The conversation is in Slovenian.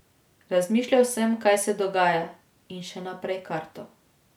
Razmišljal sem, kaj se dogaja, in še naprej kartal.